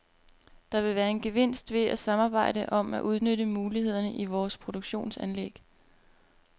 Der vil være en gevinst ved at samarbejde om at udnytte mulighederne i vores produktionsanlæg.